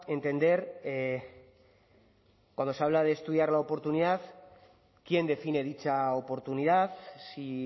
entender cuando se habla de estudiar la oportunidad quién define dicha oportunidad si